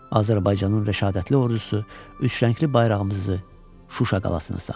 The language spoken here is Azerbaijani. Azərbaycanın rəşadətli ordusu üçrəngli bayrağımızı Şuşa qalasına sancdı.